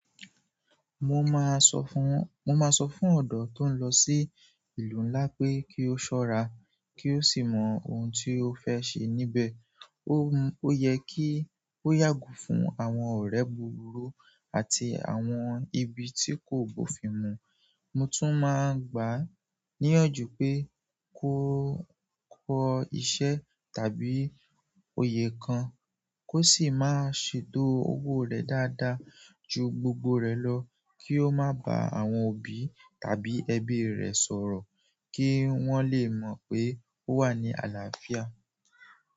Mo máa sọ fún, mo máa sọ fún ọ̀dọ́ tó ń lọ sí ìlú ńlá pé kí ó ṣọ́ra, kí ó sì mọ ohun tí ó fẹ́ ṣe níbẹ̀. Ó, ó yẹ kí ó yàgo fún àwọn ọ̀rẹ́ búburú àti àwọn ibi tí kò bófin mu. Mo tún máa ń gbà á níyànjú pé kó kọ́ iṣẹ́ tàbí oyè kan, kó sì máa ṣètò owó rẹ̀ dáadáa ju gbogbo rẹ̀ lọ, kí ó má bá àwọn òbí tàbí ẹbí rẹ̀ sọ̀rọ̀ kí wọ́n lè mọ̀ pé ó wà ní àlàáfíà.